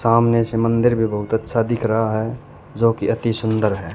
सामने समंदर भी बहोत अच्छा दिख रहा है जो की अति सुंदर है।